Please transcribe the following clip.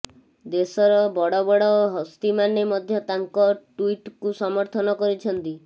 ଦେଶର ବଡ଼ ବଡ଼ ହସ୍ତିମାନେ ମଧ୍ୟ ତାଙ୍କ ଟ୍ୱିଟ୍କୁ ସମର୍ଥନ କରିଛନ୍ତି